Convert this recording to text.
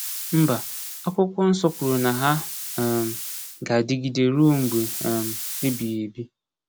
Mba, Akwụkwọ Nsọ kwuru na ha um ga-adịgide ruo mgbe um ebighịebi.